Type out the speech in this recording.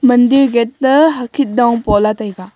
mandir gate toh hokhin pa lah taiga.